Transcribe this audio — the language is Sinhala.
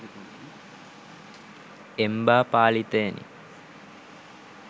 එම්බා පාලිතයෙනි